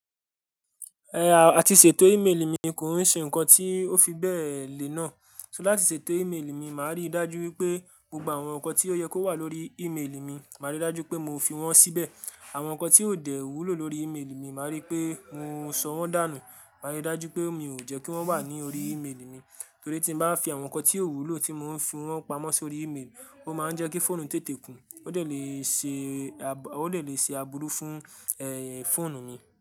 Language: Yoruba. Ẹ àti ṣètò imeeli mi kò ń ṣe nǹkan tí ó fi bẹ́ẹ̀ lé náà. Ṣó láti ṣètò imeeli mi, màá rí dájú wípé gbogbo àwọn nǹkan tí ó yẹ kó wà lórí imeeli mi, màá rí dájú pé mo fi wọ́n síbẹ̀. Àwọn nǹkan tí ò dẹ̀ wúlò lórí imeeli mi, màá rí pé mo sọ wọ́n dànù, màá rí dájú pé mi ò jẹ́ kí wọ́n wà ní orí imeeli mi. Torí tí mo bá fi àwọn nǹkan tí ò wúlò tí mo ń fi wọ́n pamọ́ sórí imeeli, ó máa ń jẹ́ kí fóònù tètè kún, ó lè ṣe, ó lè ṣe abúrú fún ẹ́ fóònù mi.